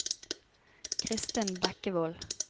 Christin Bekkevold